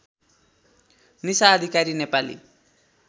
Nisha Adhikari Nepali